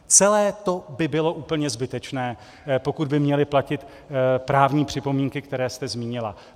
Celé by to bylo úplně zbytečné, pokud by měly platit právní připomínky, které jste zmínila.